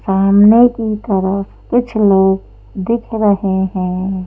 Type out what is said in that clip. सामने की तरफ कुछ लोग दिख रहे हैं।